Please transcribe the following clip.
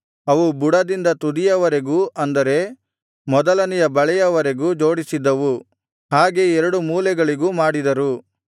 ಅವು ಬುಡದಿಂದ ತುದಿಯವರೆಗೂ ಅಂದರೆ ಮೊದಲನೆಯ ಬಳೆಯವರೆಗೂ ಜೋಡಿಸಿದ್ದವು ಹಾಗೆ ಎರಡು ಮೂಲೆಗಳಿಗೂ ಮಾಡಿದರು